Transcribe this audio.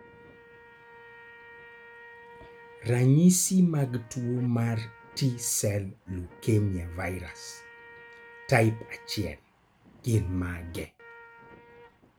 Ranyisi mag tuo mar T sel leukemia virus, type 1 gin mage?